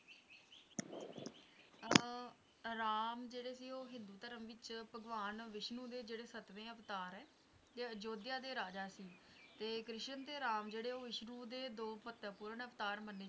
ਅਹ ਰਾਮ ਜਿਹੜੇ ਸੀ ਉਹ ਹਿੰਦੂ ਧਰਮ ਵਿਚ ਭਗਵਾਨ ਵਿਸ਼ਨੂੰ ਦੇ ਜਿਹੜੇ ਸੱਤਵੇਂ ਅਵਤਾਰ ਹੈਂ ਆ ਅਯੁਧਿਆ ਦੇ ਰਾਜਾ ਸੀ ਤੇ ਕ੍ਰਿਸ਼ਨ ਤੇ ਰਾਮ ਵਿਸ਼ਨੂੰ ਦੇ ਦੋ ਮਹੱਤਵਪੂਰਨ ਅਵਤਾਰ ਮੰਨੇ ਜਾਂਦੇ ਹਨ